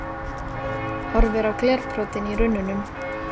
Horfir á glerbrotin í runnunum.